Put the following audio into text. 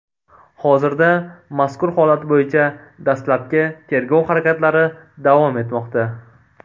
Hozirda mazkur holat bo‘yicha dastlabki tergov harakatlari davom etmoqda.